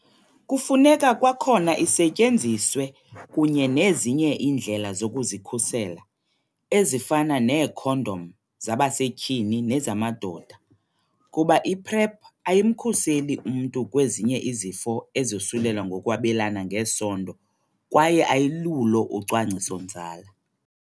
Kufuneka kwakhona isetyenziswe kunye nezinye iindlela zokuzikhusela, ezifana neekhondom zabasetyhini nezamadoda, kuba i-PrEP ayimkhuseli umntu kwezinye izifo ezosulela ngokwabelana ngesondo kwaye ayilulo ucwangciso-nzala.